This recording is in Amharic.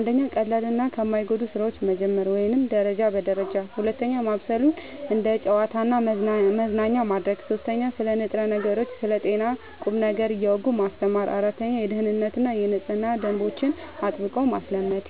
1. ከቀላልና ከማይጎዱ ሥራዎች መጀመር (ደረጃ በደረጃ) 2. ማብሰሉን እንደ ጨዋታና መዝናኛ ማድረግ 3. ስለ ንጥረ ነገሮችና ስለ ጤና ቁም ነገር እያወጉ ማስተማር 4. የደኅንነትና የንጽህና ደንቦችን አጥብቆ ማስለመድ